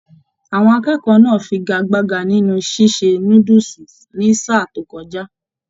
Àwọn akẹ́kọ̀ọ́ náà fígagbágà nínú ṣíṣe núdúsí ní sáà to kọjá.